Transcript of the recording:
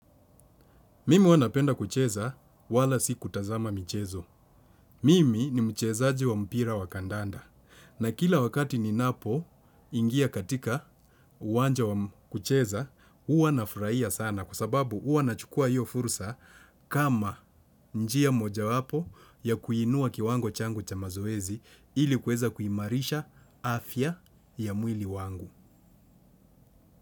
Mimi huwa napenda kucheza wala si kutazama mchezo. Mimi ni mchezaji wa mpira wa kandanda. Na kila wakati ninapo ingia katika uwanja wa kucheza, huwa nafurahia sana kwa sababu huwa nachukua hiyo fursa kama njia mojawapo ya kuinua kiwango changu cha mazoezi ili kuweza kuiimarisha afya ya mwili wangu.